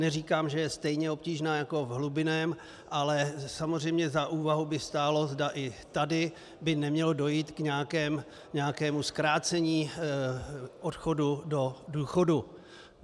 Neříkám, že je stejně obtížná jako v hlubinném, ale samozřejmě za úvahu by stálo, zda i tady by nemělo dojít k nějakému zkrácení odchodu do důchodu.